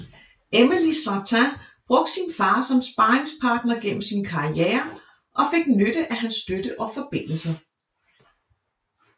Emily Sartain brugte sin far som sparringspartner gennem sin karriere og fik nytte af hans støtte og forbindelser